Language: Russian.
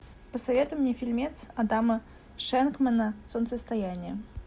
посоветуй мне фильмец адама шенкмана солнцестояние